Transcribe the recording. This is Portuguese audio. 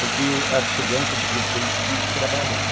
Porque as crianças daquele tempo tinham que trabalhar.